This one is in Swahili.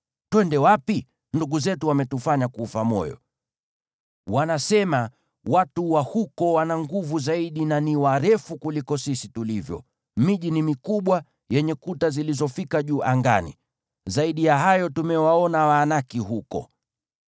Twende wapi? Ndugu zetu wametufanya kufa moyo. Wanasema, ‘Watu wa huko wana nguvu zaidi na ni warefu kuliko sisi tulivyo; miji ni mikubwa, yenye kuta zilizofika juu angani. Zaidi ya hayo, tumewaona Waanaki huko.’ ”